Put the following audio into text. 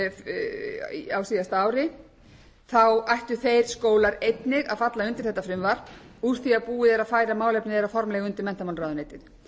voru hér á síðasta ári ættu þeir skólar einnig að falla undir þetta frumvarp úr því að búið er að færa málefni þeirra formlega undir menntamálaráðuneytið